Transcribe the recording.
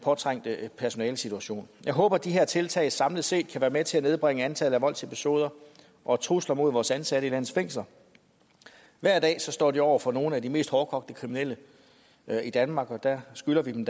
trængte personalesituation jeg håber de her tiltag samlet set kan være med til at nedbringe antallet af voldsepisoder og trusler mod ansatte i landets fængsler hver dag står de over for nogle af de mest hårdkogte kriminelle i danmark og der skylder vi dem